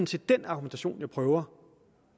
set den argumentation jeg prøver